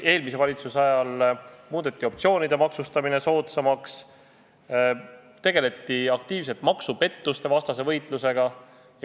Eelmise valitsuse ajal muudeti optsioonide maksustamine soodsamaks, tegeldi aktiivselt maksupettuste vastase võitlusega.